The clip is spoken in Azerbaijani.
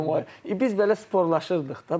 Deyirəm ay biz belə sporlaşırdıq da.